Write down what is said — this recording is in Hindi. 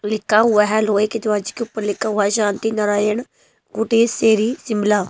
लिखा हुआ हैलोहे के दवाज के ऊपर लिखा हुआ है शांति नारायण गोटेश शेरी शिमला।